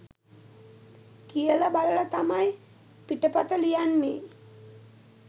කියල බලල තමයි පිටපත ලියන්නේ